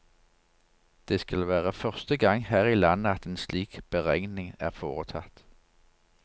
Det skal være første gang her i landet at en slik beregning er foretatt.